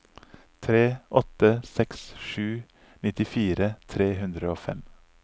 tre åtte seks sju nittifire tre hundre og fem